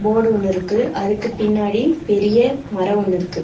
Board ஒன்னு இருக்கு அதுக்கு பின்னாடி பெரிய மரோ ஒன்னு இருக்கு.